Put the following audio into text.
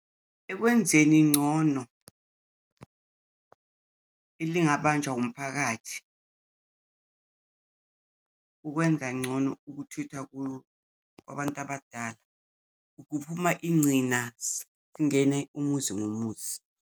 Ekwenzeni ngcono elingabanjwa umphakathi, ukwenza ngcono ukuthutha kwabantu abadala. Ukuphuma ingcinazi, kungene umuzi ngomuzi.